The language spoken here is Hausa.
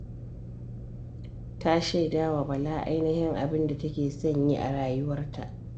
Ta shaida wa Bala ainihin abin da take son yi a rayuwarta.